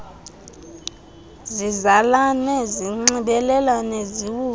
zizalane zinxibelelane ziwutsho